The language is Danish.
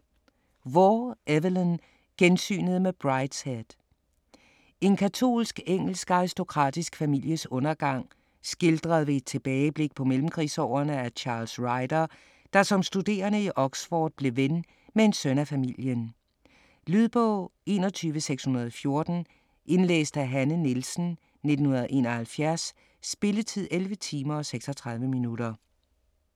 Waugh, Evelyn: Gensynet med Brideshead En katolsk engelsk aristokratisk families undergang, skildret ved et tilbageblik på mellemkrigsårene af Charles Ryder, der som studerende i Oxford blev ven med en søn af familien. Lydbog 21614 Indlæst af Hanne Nielsen, 1971. Spilletid: 11 timer, 36 minutter.